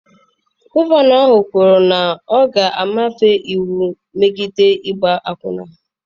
Gọvanọ ahụ kwuru na ya ga-ebufe iwu megide ịgba akwụna.